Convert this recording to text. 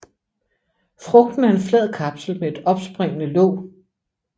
Frugten er en flad kapsel med et opspringende låg